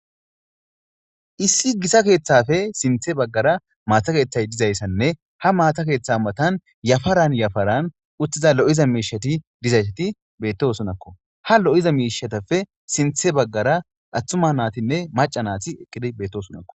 issi gita keeththafe sinthe baggara maata keeththay dizayssanne ha maata keeththa matan yafaran yafaran uttiza lo'iza miishati dizaysati bettosonakko ha lo'iza miishatappe sinthe baggara attuma naatinne maca naati eqqidi beettosonakko